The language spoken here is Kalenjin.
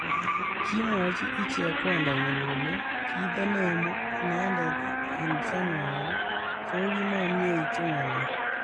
Kimwochi ichek Kwandanyi kole kitenemu inendet eng Januari takimamietu ng'alek